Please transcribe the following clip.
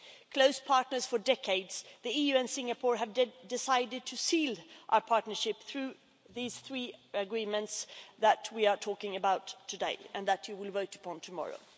Close partners for decades, the EU and Singapore have decided to seal our partnership through the three agreements that we are talking about today and that you will vote on tomorrow.